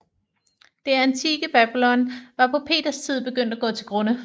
Det antikke Babylon var på Peters tid begyndt at gå til grunde